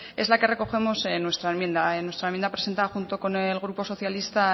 es la que recogemos en nuestra enmienda nuestra enmienda presentada junto con el grupo socialista